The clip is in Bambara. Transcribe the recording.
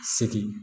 Segi